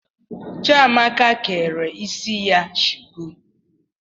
Chiamaka kere isi ya shuku